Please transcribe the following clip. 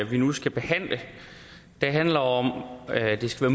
vi nu skal behandle handler om at det skal